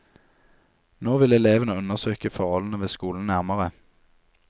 Nå vil elevene undersøke forholdene ved skolen nærmere.